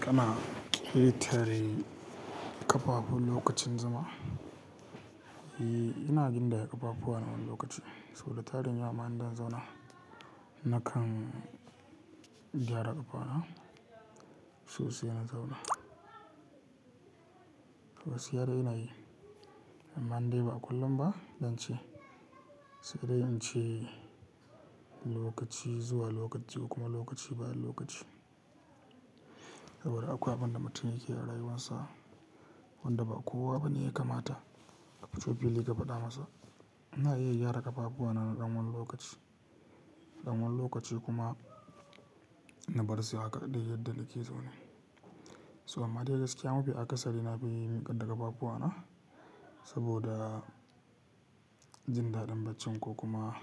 Kana ƙetare ƙafafu lokacin zama? E, ina ƙetare ƙafafu a wani lokaci sau da tarin ya wa ma in zan zauna. Nakan gyara ƙafana sosai na zauna. Wasu yaren ina yi amma dai ba kullum ba zan ce sai dai in ce lokaci zuwa lokaci kuma lokaci bayan lokaci. Saboda akwai abin da mutum yake arayuwansa wanda ba kowa bane ya kamata. Abin da Ubangiji ya faɗa masa. Ina iya gyara ƙafafuwa na ɗan wani lokaci, ɗan wani lokaci kuma na bar su haka dai yadda nake so ne. So amma dai gaskiya mafi akasari na fi miƙar da ƙafafuwa na saboda jin daɗin baccin ko kuma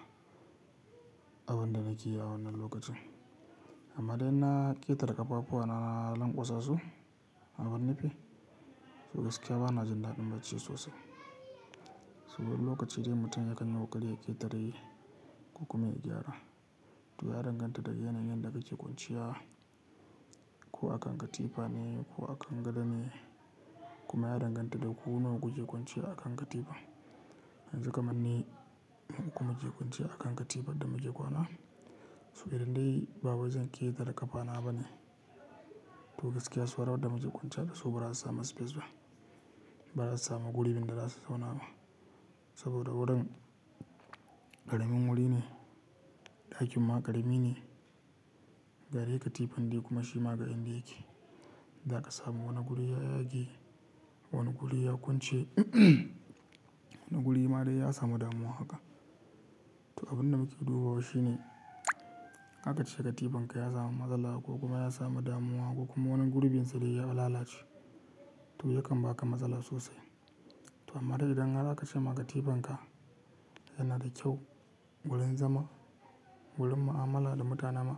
abin da nake yi a wannan lokacin. Amma dai na ƙetare ƙafafuwa na na lanƙwasa su a wani fi so gaskiya bana jin daɗin bacci sosai. Saboda wani lokaci idan mutum ya kan yi ƙoƙari ya ƙetare ko kuma ya gyara. To ya danganta da yanayin da kake kwanciya, ko a kan katifa ne ko a kan gado ne kuma ya danganta da ku nawa kuke kwanciya a kan jaridar. Yanzu kamar ni mu uku muke kwanciya a kan katifar da muke kwana. To idan dai bawai zan ƙetare ƙafana ba ne to gaskiya saura wadda muke kwanciya da su ba za su sami space ba, ba za su sami gurin da za su zauna ba. Saboda wurin ƙaramin wuri ne, ɗakin ma ƙarami ne, bare katifan dai kuma shi ma ga yadda yake. Za ka sami wani guri ya yage, wani guri ya kwance, wani guri ma dai ya samu damuwa haka. To abin da muke dubawa shi ne haka kace katifanka ya samu matsala ko kuma ya samu damuwa ko kuma wani gurbinsa da ya lalace to ya kan ba ka matsala sosai. To amma dai idan haka kace ma katifanka yana da kyau, gurin zama, gurin mu'amala da mutane ma,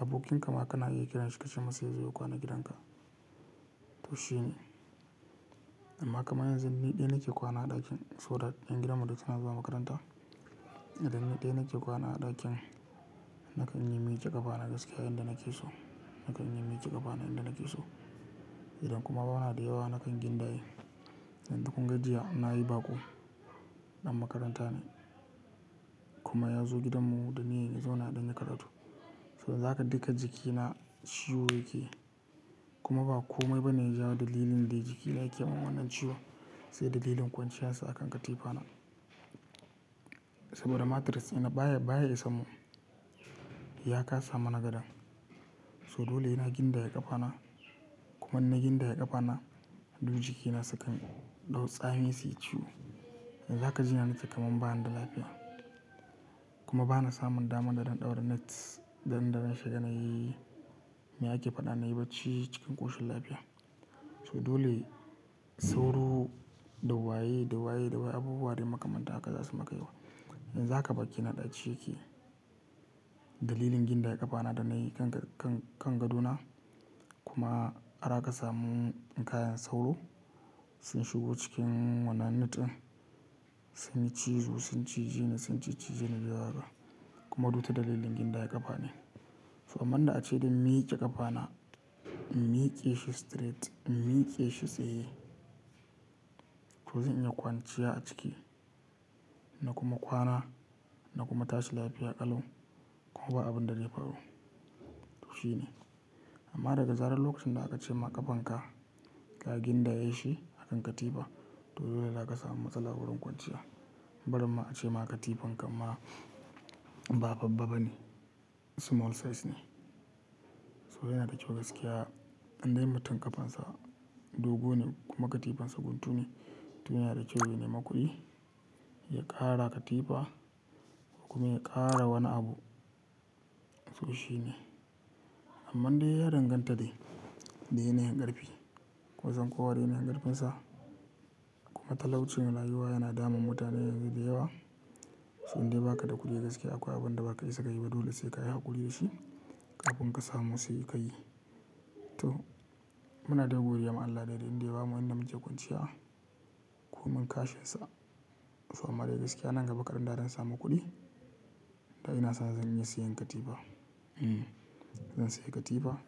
abokan ka ma kana iya kiranshi ka ce masa yazo ya kwana gidan ka, to shi ne. Amma kamar yanzu ni ɗaya nake kwana a ɗakin so that ƴan gidanmu duk suna zuwa makaranta. Idan ni ɗaya nake kwana a ɗakin nakan yi miƙe ƙafana gaskiya yanda nake so, nakan yi miƙe ƙafana yanda nake so. Idan kuma bana da yawa nakan gindaye. Yanzu kunga jiya na yi baƙo, ɗan makaranta ne kuma ya zo gidanmu domin ya zauna ya ɗan yikaratu. So yanzu haka duka jikina ciwo yake kuma ba komai bane ya jawo dalilin da jikina yake mun wannan ciwon sai dalilin kwanciyarsa a kan katifana. Saboda mattress ina baya, baya isanmu ya kasa mana gadon. So dole ina gindaye ƙafana kuma ina gindaye ƙafana duk jikina sukan ɗau tsami su yi ciwo. Yanzu haka jinyan ita kamar ba ni da lafiya kuma ba na samun damar da zan ɗaura nets daren da na shiga na yi. Me ake faɗa na yi bacci cikin ƙoshin lafiya. So dole sauro, dawaye, dawaye, dawaye abubuwa dai maka mantan haka za su yi maka yawa. Yanzu haka bakina ɗaci yake dalilin gindaye ƙafana da na yi kan, kan, kan gadona kuma har aka samu kayan sauro sun shigo cikin wannan net ɗin sun yi cizo, sun cije ni, sun cicci jeni zuwa daga kuma ta dalilin gindaye ƙafane. To amman da ace dan miƙe ƙafana, in miƙe shi straight, in miƙe shi tsaye to zan iya kwanciya a ciki na kuma kwana na kuma tashi lafiya ƙalau kuma ba abin da zai faru, to shi ne. Amma daga zarar lokacin da aka ce ma ƙafanka ka gindaye shi a kan katifa to dole za ka samu matsala wurin kwanciya. Barin ma ace ma katifankan ma ba babba ba ne, small size ne. To yana da kyau gaskiya in dai mutum ƙafansa dogo ne kuma katifansa guntu ne, to yana da kyau ya ne maƙuɗi ya ƙara katifa ko kuma ya ƙara wani abu, to shi ne. Amman dai ya danganta dai, da yana yin ƙarfi kun san kowa da yanayin ƙarfinsa kuma talaucin rayuwa yana damun mutane yanzu da yawa. So indai baka da kuɗi gaskiya akwai abin da ba ka isaka yi ba dole sai ka yi haƙuri da shi ƙafin ka samu sai ka yi. To muna dai godiyama Allah dai da inda ya bamu inda muke kwanciya ko man kashin sa. To amma dai gaskiya nan gaba ƙaɗan da zan samu kuɗi da ina son zan iya siyan katifa, zan siya katifa.